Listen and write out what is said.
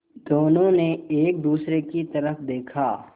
दोनों ने एक दूसरे की तरफ़ देखा